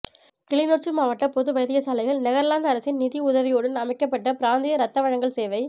கிளிநொச்சி மாவட்ட பொது வைத்தியசாலையில் நெதர்லாந்து அரசின் நிதியுதவியுடன் அமைக்கப்பட்ட பிராந்திய இரத்த வழங்கல் சேவை